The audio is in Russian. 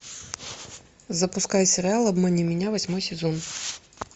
запускай сериал обмани меня восьмой сезон